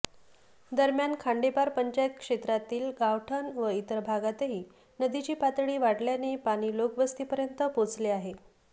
दरम्यान खांडेपार पंचायत क्षेत्रातील गावठण व इतर भागातही नदीची पातळी वाढल्याने पाणी लोकवस्तीपर्यंत पोचले आहे